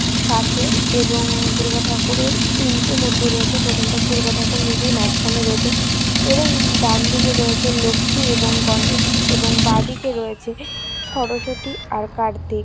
সাঁচের এবং দুর্গা ঠাকুরের তিনটে মূর্তি রয়েছে প্রথমটা দুর্গা ঠাকুর নিজেই মাঝখানে রয়েছে এবং ডান দিকে রয়েছে লক্ষ্মী এবং গণেশ এবং বাঁ দিকে রয়েছে স্বরসতী আর কার্তিক।